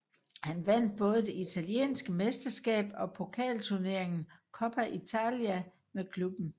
Han vandt både det italienske mesterskab og pokalturneringen Coppa Italia med klubben